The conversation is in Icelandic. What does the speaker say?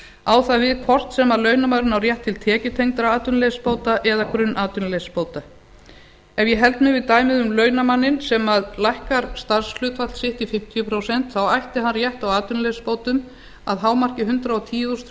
á það við hvort sem launamaðurinn á rétt til tekjutengdra atvinnuleysisbóta eða grunnatvinnuleysisbóta ef ég held mig við dæmið um launamanninn sem lækkar starfshlutfall sitt í fimmtíu prósent þá ætti hann rétt á atvinnuleysisbótum að hámarki hundrað og tíu þúsund þrjú